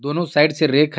दोनो साइड से रैक है.